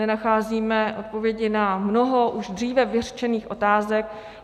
Nenacházíme odpovědi na mnoho už dříve vyřčených otázek.